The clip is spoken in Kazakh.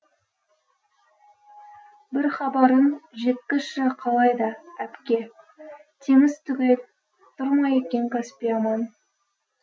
бір хабарын жеткізші қалай да әпке теңіз түгел тұр ма екен каспий аман